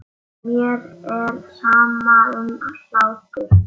Mér er sama um hlátur.